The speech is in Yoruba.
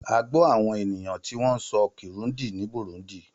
A gbọ́ àwọn ènìyàn tí wọ́n ń sọ Kirundi ní Burundi.